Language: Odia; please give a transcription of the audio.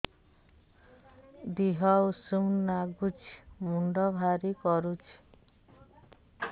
ଦିହ ଉଷୁମ ନାଗୁଚି ମୁଣ୍ଡ ଭାରି କରୁଚି